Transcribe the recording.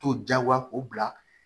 To diyagoya k'o bila